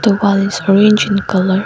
The wall is orange in colour.